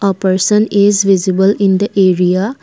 a person is visible in the area.